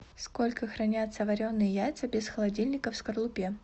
сколько хранятся вареные яйца без холодильника в скорлупе